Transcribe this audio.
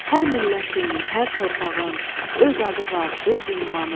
Hər millətin, hər torpağın öz adı var, öz ünvanı.